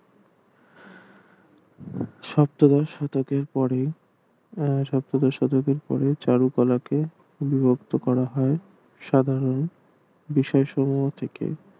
সপ্তদশ শতকের পরে উম সপ্তদশ শতকের পরে চারুকলাকে উদ্বুদ্ধ করা হয় সাধারণ থেকে